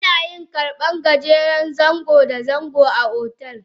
Ana yin karban gajeren zango da dogo a otel.